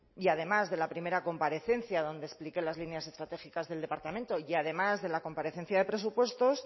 y además de la primera comparecencia donde expliqué las líneas estratégicas del departamento y además de la comparecencia de presupuestos